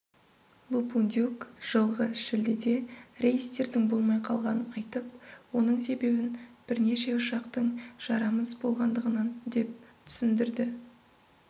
лупундюк жылғы шілдеде рейстердің болмай қалғанын айтып оның себебін бірнеше ұшақтың жарамыз болғандығынан деп түсіндірді